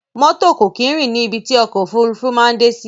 Mọ́tò kò kí n rìn ní ibi tí ọ̀kọ̀ ofúrufú maa n dé sí